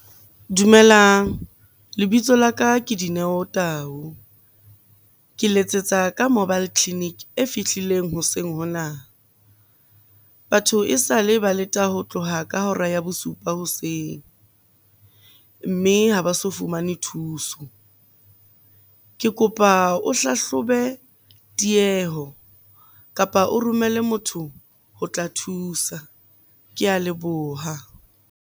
Dumelang. Lebitso laka ke Dineo Tau. Ke letsetsa ka mobile clinic e fihlileng hoseng hona. Batho esale ba leta ho tloha ka hora ya bosupa hoseng, mme ha ba so fumane thuso. Ke kopa o hlahlobe tieho, kapa o romelle motho ho tla thusa. Ke a leboha.